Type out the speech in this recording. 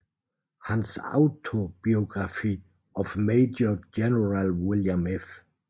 Hans Autobiography of Major General William F